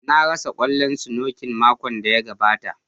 Na rasa kwallon snooker makon da ya gabata.